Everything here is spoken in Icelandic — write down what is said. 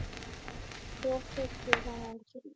Hver keypti þennan hring?